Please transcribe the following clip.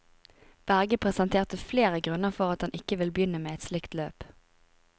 Berge presenterte flere grunner for at han ikke vil begynne et slikt løp.